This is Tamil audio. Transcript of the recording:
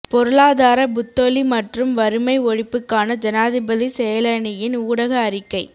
பொருளாதார புத்தொளி மற்றும் வறுமை ஒழிப்புக்கான ஜனாதிபதி செயலணியின் ஊடக அறிக்கை